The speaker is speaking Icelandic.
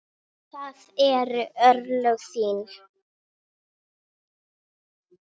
Mynd af Kaíró